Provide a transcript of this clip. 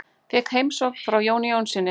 Fékk heimsókn frá Jóni Jónssyni.